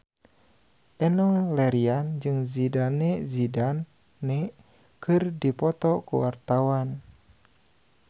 Enno Lerian jeung Zidane Zidane keur dipoto ku wartawan